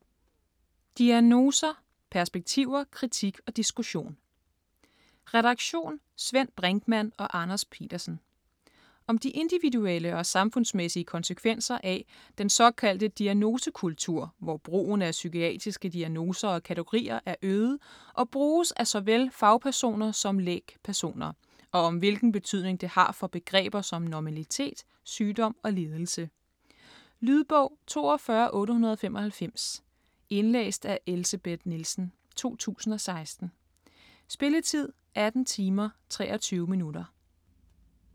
Diagnoser: perspektiver, kritik og diskussion Redaktion: Svend Brinkmann og Anders Petersen. Om de individuelle og samfundsmæssige konsekvenser af den såkaldte "diagnosekultur", hvor brugen af psykiatriske diagnoser og kategorier er øget, og bruges af såvel fagpersoner som lægpersoner, og om hvilken betydning det har for begreber som normalitet, sygdom og lidelse. Lydbog 42895 Indlæst af Elsebeth Nielsen, 2016. Spilletid: 18 timer, 23 minutter.